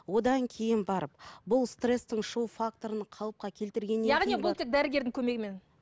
одан кейін барып бұл стресстің шығу факторын қалыпқа келтіргеннен бұл тек дәрігердің көмегімен